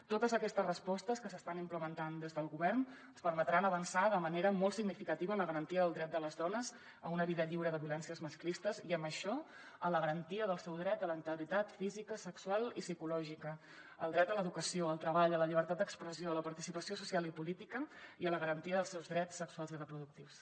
totes aquestes respostes que s’estan implementant des del govern ens permetran avançar de manera molt significativa en la garantia del dret de les dones a una vida lliure de violències masclistes i amb això en la garantia del seu dret a la integritat física sexual i psicològica al dret a l’educació al treball a la llibertat d’expressió a la participació social i política i a la garantia dels seus drets sexuals i reproductius